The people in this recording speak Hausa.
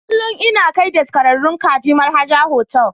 Kullum ina kai daskararrun kaji Mar'haja Hotel.